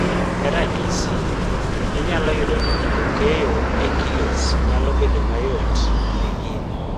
ne ranyisi, inyalo yudo ni ndiko keyo e kilosnyalo bedo mayot ne in